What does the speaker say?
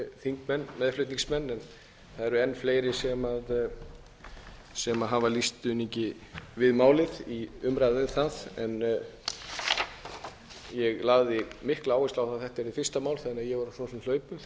þingmenn meðflutningsmenn það eru en fleiri sem hafa lýst stuðningi við málið í umræðu um það ég lagði áherslu á að þetta yrði fyrsta mál þannig að ég var á hlaupum þegar